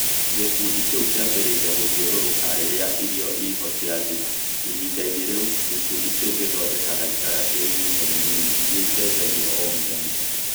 Gĩkundi kĩu kĩambĩrĩria gũthiũrũrũka rĩrĩa irio iho ciathira. Ihinda-inĩ rĩu, gĩkundi kĩu gĩthondekaga itara cia ihinda inini iria icenjagio o mũthenya.